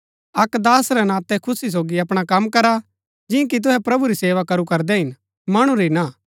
अक्क दास रै नातै खुशी सोगी अपणा कम करा जियां कि तुहै प्रभु री सेवा करू करदै हिन मणु री ना